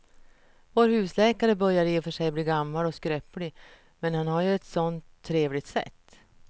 Vår husläkare börjar i och för sig bli gammal och skröplig, men han har ju ett sådant trevligt sätt!